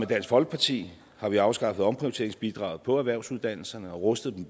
dansk folkeparti har vi afskaffet omprioriteringsbidraget for erhvervsuddannelserne og rustet dem